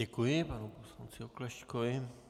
Děkuji panu poslanci Oklešťkovi.